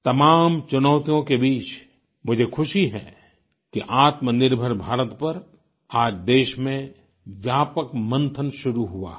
तमाम चुनौतियों के बीच मुझे खुशी है कि आत्मनिर्भर भारत पर आज देश में व्यापक मंथन शुरू हुआ है